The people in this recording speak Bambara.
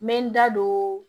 N bɛ n da don